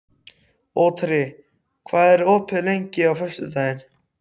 Otri, hvað er opið lengi á föstudaginn?